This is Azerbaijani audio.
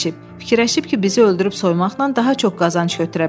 Fikirləşib ki, bizi öldürüb soymaqla daha çox qazanc götürə bilər.